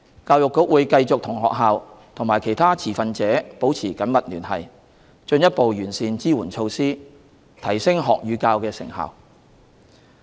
教育局會繼續與學校和其他持份者保持緊密聯繫，進一步完善支援措施，提升學與教的成效。